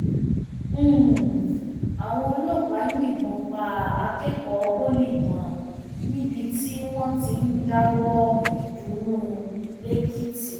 um àwọn ọlọpàá yìnbọn pa akẹkọọ pọlì kan um níbi tí wọn ti ń dáwọọ ìdùnnú lẹkìtì